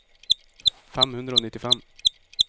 fem hundre og nittifem